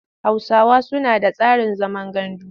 Hausawa suna da tsarin zaman gandu.